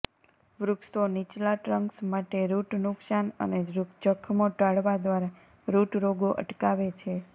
વૃક્ષો નીચલા ટ્રંક્સ માટે રુટ નુકસાન અને જખમો ટાળવા દ્વારા રુટ રોગો અટકાવે છે